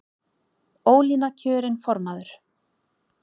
Ólína kjörin formaður